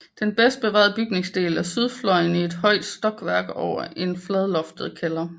Den bedst bevarede bygningsdel er sydfløjen i ét højt stokværk over en fladloftet kælder